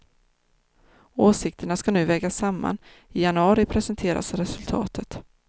Åsikterna ska nu vägas samman, i januari presenteras resultatet.